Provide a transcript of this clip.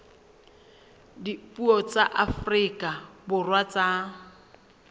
dipuo tsa afrika borwa tsa